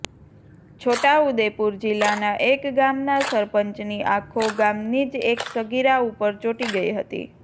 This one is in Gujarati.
છોટા ઉદેપુર જિલ્લાના એક ગામના સરપંચની આખો ગામની જ એક સગીરા ઉપર ચોંટી ગઈ હતી